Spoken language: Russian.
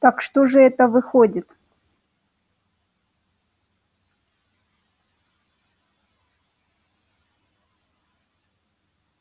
так что же это выходит